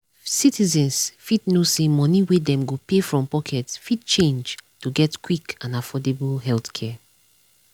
citizens fit know say money wey dem go pay from pocket fit change to get quick and affordable healthcare.